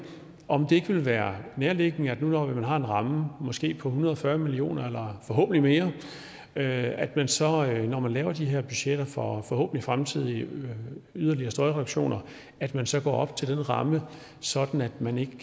om det ikke ville være nærliggende når man nu har en ramme på måske en hundrede og fyrre million kroner eller forhåbentlig mere at man så når man laver de her budgetter for forhåbentlig fremtidige yderligere støjreduktioner at man så går op til den ramme sådan at man ikke